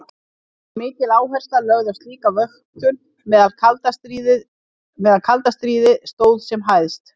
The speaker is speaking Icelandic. Var mikil áhersla lögð á slíka vöktun meðan kalda stríði stóð sem hæst.